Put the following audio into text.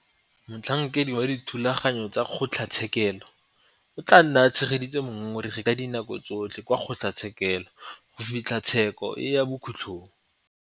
Motlhankedi wa dithulaganyo tsa kgotlatshekelo o tla nna a tshegeditse mongongoregi ka dinako tsotlhe kwa kgotlatshekelo go fitlha tsheko e ya bokhutlong.